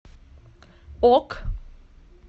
ок